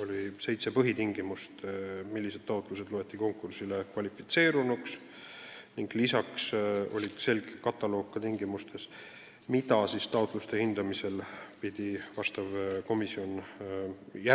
Oli seitse põhitingimust, millised taotlused loetakse konkursile kvalifitseerunuks, ning lisaks oli selge loend tingimustest, mida komisjon peab taotluste hindamisel